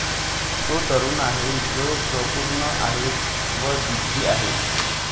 तो तरूण आहे जोशपूर्ण आहे व जिद्दी आहे